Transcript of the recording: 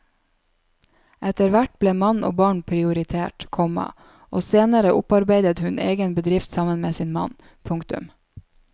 Etterhvert ble mann og barn prioritert, komma og senere opparbeidet hun egen bedrift sammen med sin mann. punktum